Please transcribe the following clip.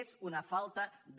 és una falta de